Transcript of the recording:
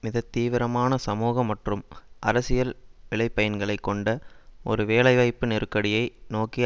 மிக தீவிரமான சமூக மற்றும் அரசியல் விளை பயன்களை கொண்ட ஒரு வேலைவாய்ப்பு நெருக்கடியை நோக்கி